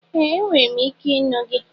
Ee! Enwere m ike ịnụ gị.